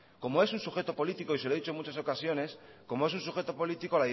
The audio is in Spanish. como es un sujeto político y se lo he dicho muchas ocasiones como es un sujeto político